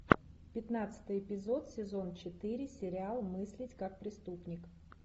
пятнадцатый эпизод сезон четыре сериал мыслить как преступник